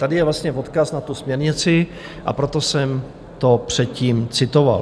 Tady je vlastně odkaz na tu směrnici, a proto jsem to předtím citoval.